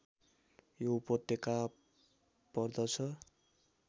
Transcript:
यो उपत्यका पर्दछ